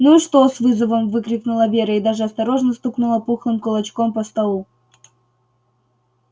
ну и что с вызовом выкрикнула вера и даже осторожно стукнула пухлым кулачком по столу